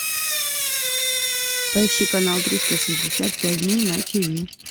поищи канал триста шестьдесят пять дней на тиви